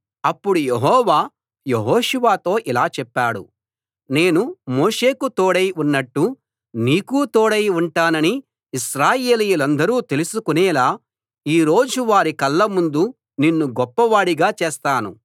అప్పుడు యెహోవా యెహోషువతో ఇలా చెప్పాడు నేను మోషేకు తోడై ఉన్నట్టు నీకూ తోడై ఉంటానని ఇశ్రాయేలీయులందరూ తెలుసుకొనేలా ఈ రోజు వారి కళ్ళ ముందు నిన్ను గొప్ప వాడిగా చేస్తాను